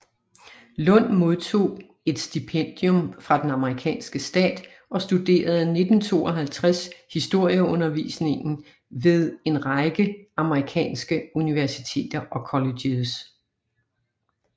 Lund modtog et stipendium fra den amerikanske stat og studerede 1952 historieundervisningen ved en række amerikanske universiteter og colleges